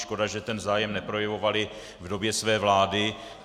Škoda, že ten zájem neprojevovali v době své vlády.